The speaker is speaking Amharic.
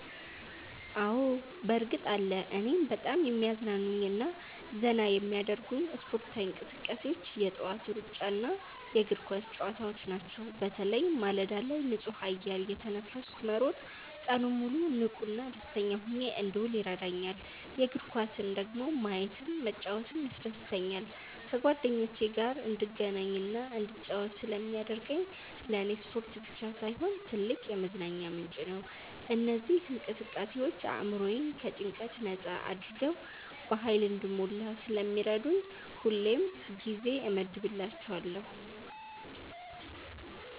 አዎ፣ በእርግጥ አለ! እኔን በጣም የሚያዝናኑኝና ዘና የሚያደርጉኝ ስፖርታዊ እንቅስቃሴዎች የጠዋት ሩጫና የእግር ኳስ ጨዋታዎች ናቸው። በተለይ ማለዳ ላይ ንጹህ አየር እየተነፈስኩ መሮጥ ቀኑን ሙሉ ንቁና ደስተኛ ሆኜ እንድውል ይረዳኛል። የእግር ኳስን ደግሞ ማየትም መጫወትም ያስደስተኛል። ከጓደኞቼ ጋር እንድገናኝና እንድጫወት ስለሚያደርገኝ ለኔ ስፖርት ብቻ ሳይሆን ትልቅ የመዝናኛ ምንጭ ነው። እነዚህ እንቅስቃሴዎች አእምሮዬን ከጭንቀት ነጻ አድርገው በሃይል እንድሞላ ስለሚረዱኝ ሁሌም ጊዜ እመድብላቸዋለሁ።